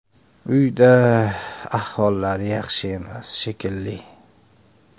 Uyda ahvollari yaxshi emas, shekilli.